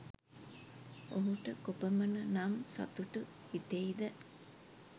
ඔහුට කොපමණ නම් සතුටු හිතෙයිද?